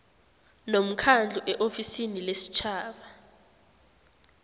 nomkhandlu eofisini lesitjhaba